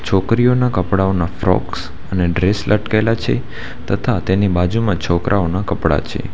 છોકરીઓના કપડાંઓના ફ્રોક્સ અને ડ્રેસ લટકેલા છે તથા તેની બાજુમાં છોકરાઓના કપડાં છે.